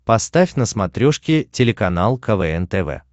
поставь на смотрешке телеканал квн тв